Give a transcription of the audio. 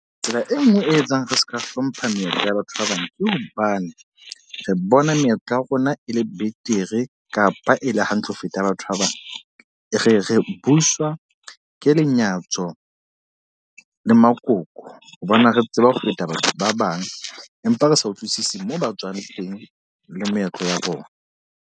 Tsela e nngwe e etsang re seka hlompha meetlo ya batho ba bang. Ke hobane re bona meetlo ya rona e le betere kapa e le hantle ho feta batho ba bang. Re re buswa ke lenyatso le makoko. Hobane re tseba ho feta batho ba bang. Empa re sa utlwisisi moo ba tswang teng le moetlo wa bona.